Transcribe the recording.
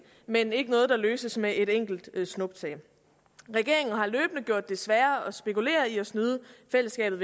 men ikke noget der løses med et enkelt snuptag regeringen har løbende gjort det sværere at spekulere i at snyde fællesskabet